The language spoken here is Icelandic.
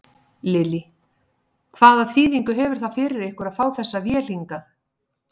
Lillý: Hvaða þýðingu hefur það fyrir ykkur að fá þessa vél hingað?